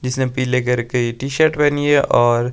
जिसने पीले कलर की टी शर्ट पहनी है और--